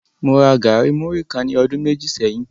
Mo ra gari muri kan ní ọdun méjì sẹ́yìn.